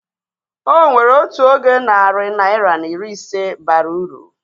Onwere oge otu narị naira na iri ise bara uru